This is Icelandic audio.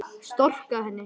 Storka henni.